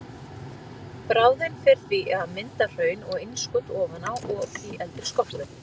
Bráðin fer því í að mynda hraun og innskot ofan á og í eldri skorpu.